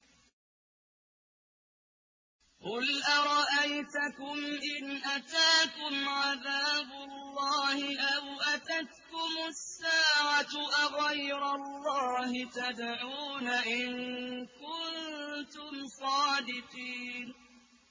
قُلْ أَرَأَيْتَكُمْ إِنْ أَتَاكُمْ عَذَابُ اللَّهِ أَوْ أَتَتْكُمُ السَّاعَةُ أَغَيْرَ اللَّهِ تَدْعُونَ إِن كُنتُمْ صَادِقِينَ